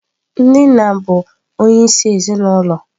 Ndị nna bụ onyeisi ezinụlọ.